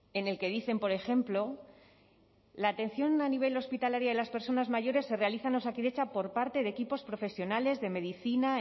en el que dicen por ejemplo la atención a nivel hospitalario de las personas mayores se realizan en osakidetza por parte de equipos profesionales de medicina